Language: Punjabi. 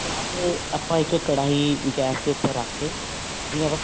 ਬਾਅਦ ਆਪਾਂ ਇੱਕ ਕੜਾਹੀ ਗੈਸ ਦੇ ਉੱਪਰ ਰੱਖ ਕੇ ਬੀ ਆਪਾਂ